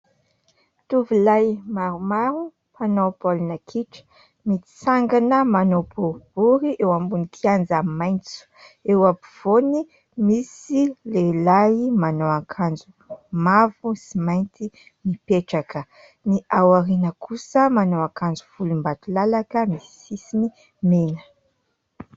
Tovolahy maromaro mpanao baolina kitra, mitsangana manao boribory eo ambony kianja maitso. Eo afovoany misy lehilahy manao akanjo mavo sy mainty mipetraka. Ny ao aoriana kosa manao akanjo volombakilalaka misy sisiny mena.